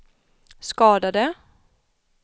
skadade